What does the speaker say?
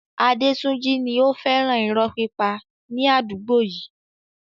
Adetunji ni ó fẹ́ràn irọ́ pípa ní àdúgbò yìí.